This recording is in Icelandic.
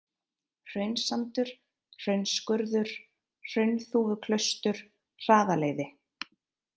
Hraunssandur, Hraunsskurður, Hraunþúfuklaustur, Hraðaleiði